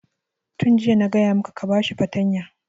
Tun jiya na gaya maka ka ba shi fartanya!